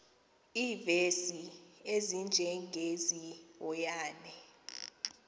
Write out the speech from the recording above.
iivesi ezinjengezi yohane